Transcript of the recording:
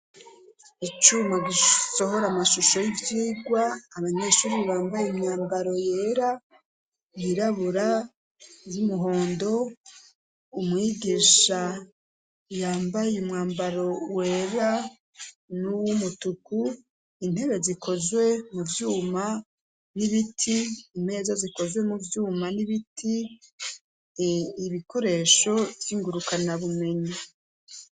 Icuma gisohora amashusho y'ivyirwa, abanyeshuri bambaye imyambaro yera, yirabura, y'umuhondo, umwigisha yambaye umwambaro wera n'uwumutuku, intebe zikozwe mu vyuma n'ibiti, imeza zikoze mu vyuma n'ibiti, ibikoresho vy'ingurukanabumenyi.